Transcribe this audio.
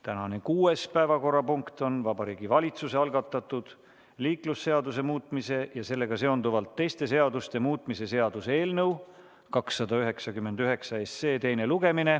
Tänane kuues päevakorrapunkt on Vabariigi Valitsuse algatatud liiklusseaduse muutmise ja sellega seonduvalt teiste seaduste muutmise seaduse eelnõu 299 teine lugemine.